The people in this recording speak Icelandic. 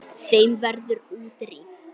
Þeim verður útrýmt.